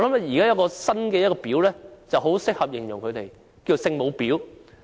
現在有一個新的"婊"很適合形容他們，便是"聖母婊"。